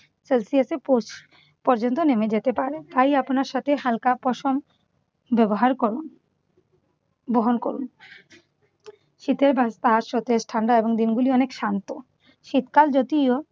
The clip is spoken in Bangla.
সেলসিয়াসে পৌঁছ পর্যন্ত নেমে যেতে পারে। তাই আপনার সাথে হালকা পশম ব্যবহার করুন। বহন করুন। শীতের বা তার সাথে ঠান্ডা এবং দিনগুলি অনেক শান্ত। শীতকাল যদিও